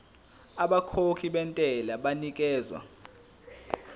abakhokhi bentela banikezwa